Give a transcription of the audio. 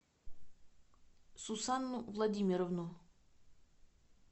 сусанну владимировну